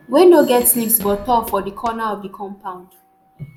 wey no get leaves but tall for di corner of di compound